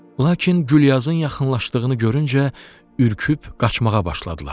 Lakin Gülyazın yaxınlaşdığını görüncə ürküb qaçmağa başladılar.